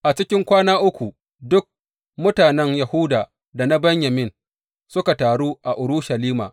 A cikin kwana uku duk mutanen Yahuda da na Benyamin suka taru a Urushalima.